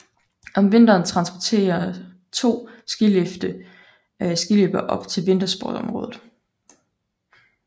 Om vinteren transporterer to skilifte skiløbere op til vintersportsområdet